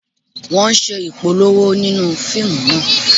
Wọ́n ń ṣe Ìpolówó nínú fíìmù náà